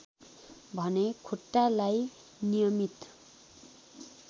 भने खुट्टालाई नियमित